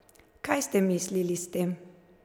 Kaj ste mislili s tem?